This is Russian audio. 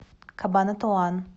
кабанатуан